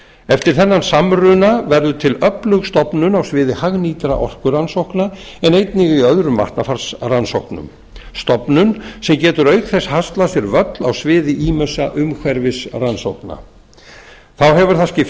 eftir þennan samruna verður til öflug stofnun á sviði hagnýtra orkurannsókna en einnig í öðrum vatnafarsrannsóknum stofnun sem getur auk þess haslað sér völl á sviði ýmissa umhverfisrannsókna þá hefur það skipt